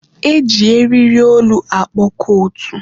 E ji eriri olu akpọ kootu.